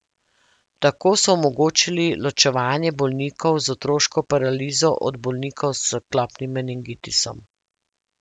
Tako so omogočili ločevanje bolnikov z otroško paralizo od bolnikov s klopnim meningitisom.